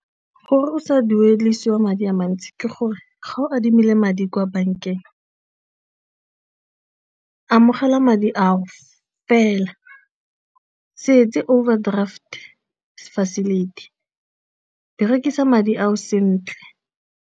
Gore o sa duedisiwa madi a mantsi ke gore ga o adimile madi kwa bankeng, amogela madi ao fela, se etse overdraft facility, berekisa madi ao sentle.